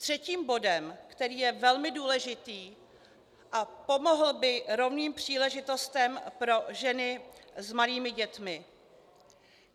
Třetím bodem, který je velmi důležitý a pomohl by rovným příležitostem pro ženy s malými dětmi.